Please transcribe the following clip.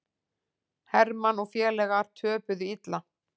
Hermann og félagar töpuðu illa